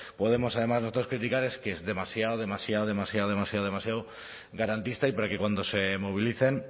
podemos además nosotros criticar es que es demasiado demasiado demasiado demasiado garantista y para que cuando se movilicen